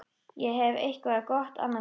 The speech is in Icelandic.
Ég hef eitthvað gott annað kvöld.